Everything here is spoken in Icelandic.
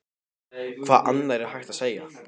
Hvað annað er hægt að segja?